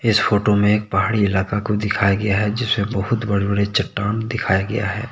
इस फोटो में एक पहाड़ी इलाका को दिखाया गया है जिसे बहुत बड़े बड़े चट्टान दिखाया गया है।